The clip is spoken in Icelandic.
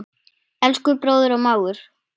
Elsku bróðir og mágur.